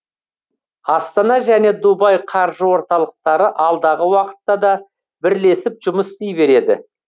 астана және дубай қаржы орталықтары алдағы уақытта да бірлесіп жұмыс істей береді